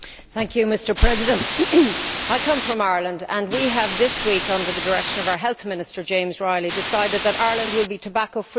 Mr President, I come from Ireland and we have this week, under the direction of our Health Minister, James Riley, decided that Ireland will be tobacco free by